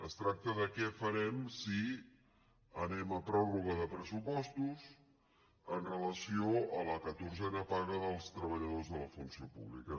es tracta de què farem si anem a pròrroga de pressupostos amb relació a la catorzena paga dels treballadors de la funció pública